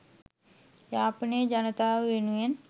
යාපනයේ ජනතාව වෙනුවෙන්